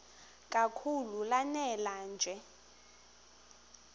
kakhulu lanela nje